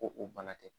Ko o bana tɛ